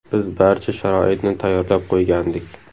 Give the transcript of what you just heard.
Biz barcha sharoitni tayyorlab qo‘ygandik.